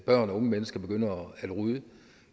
børn og unge mennesker begynder at ryge